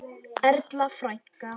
Erla frænka.